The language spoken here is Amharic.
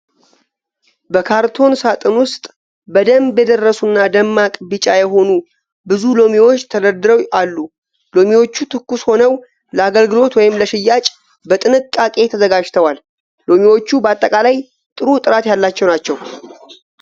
በካርቶን ሣጥን ውስጥ በደንብ የደረሱ እና ደማቅ ቢጫ የሆኑ ብዙ ሎሚዎችን ተደርድረው አሉ ። ሎሚዎቹ ትኩስ ሆነው ለአገልግሎት ወይም ለሽያጭ በጥንቃቄ ተዘጋጅተዋል ። ሎሚዎቹ በአጠቃላይ ጥሩ ጥራት ያላቸው ናቸው ።